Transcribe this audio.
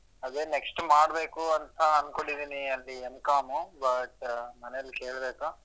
ಅದೆ next ಮಾಡ್ಬೇಕು ಅಂತಾ ಅನ್ಕೊಂಡಿನಿ ಅಲ್ಲಿ M.Com but ಮನೆಯಲ್ಲಿ ಕೇಳ್ಬೇಕು.